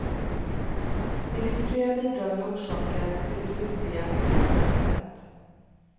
Det finns flera bidragande orsaker till det slutliga olycksförloppet.